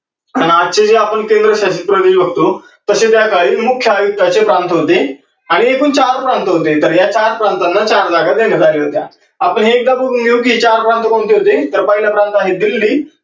आणि आजचे जे आपण केंद्रशासित प्रदेश बघतो तसे त्या काळी मुख्य आयुक्ताचे प्रांत होते आणि एकूण चार प्रांत होते, त्यांना चार प्रांतांना चार जागा देण्यात आल्या होत्या. आपण एकदा बघून घेऊ कि हे चार प्रांत कोणते होते तर पाहिलं प्रांत आहे दिल्ली